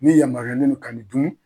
N'i lamaruyalen don ka nin dun